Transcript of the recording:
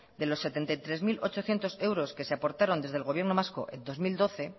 de los setenta y tres mil ochocientos euros que se aportaron desde el gobierno vasco en el dos mil doce